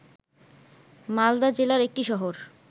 মালদা জেলার একটি শহর